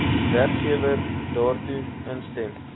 werkgewer daartoe instem